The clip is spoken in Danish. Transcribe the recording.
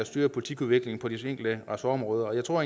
styrer politikudviklingen på de enkelte ressortområder jeg tror